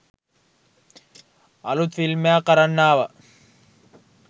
අළුත් ෆිල්ම් එකක් අරන් ආවා.